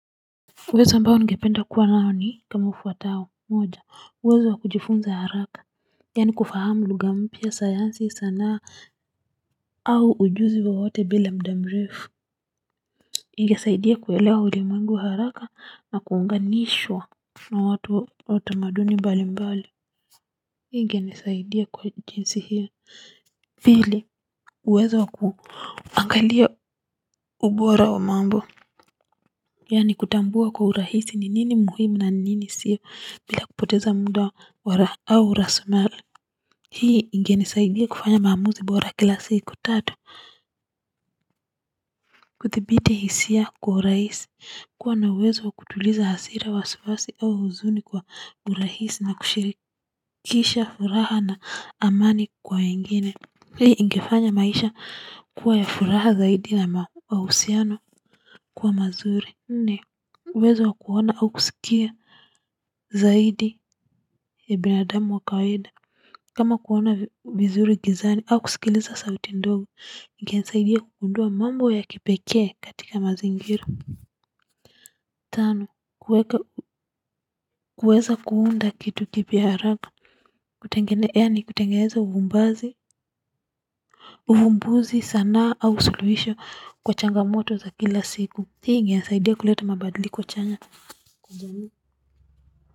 Uwezo ambao ningependa kuwa nao ni kama ufuatao moja uwezo wa kujifunza haraka. Yani kufahamu lugha mpya sayansi sanaa au ujuzi wowote bila muda mrefu. Ingesaidia kuelewa ulimwengu haraka na kuunganishwa na watu wa utamaduni mbali mbali hii ingenisaidia kwa jinsi hili. Vili uwezo wa kuangalia ubora wa mambo. Yani kutambua kwa urahisi ni nini muhimu na nini siyo bila kupoteza muda wa au raslimali. Hii ingenisaidia kufanya maamuzi bora kila siku tatu. Kuthibiti hisia kwa urahisi kuwa na uwezo wa kutuliza hasira wasiwasi au huzuni kwa urahisi na kushirikisha furaha na amani kwa wengine. Hii ingefanya maisha kuwa ya furaha zaidi na mausiano kuwa mazuri. Nne uwezo wa kuona au kusikia zaidi ya binadamu wa kawaida kama kuona vizuri gizani au kusikiliza sauti ndogo. Ingenisaidia kugundua mambo ya kipekee katika mazingira tano kuweza kuunda kitu kipya haraka kutengeneza yani kutengeneza uvumbazi uvumbuzi sanaa au suluhisho kwa changamoto za kila siku hii ingenisaidia kuleta mabadiliko kwa chanya kwa jamii.